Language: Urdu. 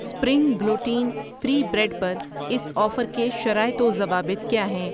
سپرینگ گلوٹین فری بریڈ پر اس آفر کے شرائط و ضوابط کیا ہیں؟